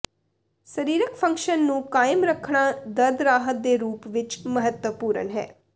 ਸਰੀਰਕ ਫੰਕਸ਼ਨ ਨੂੰ ਕਾਇਮ ਰੱਖਣਾ ਦਰਦ ਰਾਹਤ ਦੇ ਰੂਪ ਵਿੱਚ ਮਹੱਤਵਪੂਰਣ ਹੈ